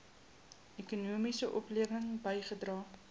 ekonomiese oplewing bygedra